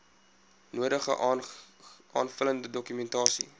nodige aanvullende dokumentasie